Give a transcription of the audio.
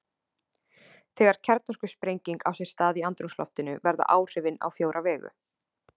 Þegar kjarnorkusprenging á sér stað í andrúmsloftinu verða áhrifin á fjóra vegu.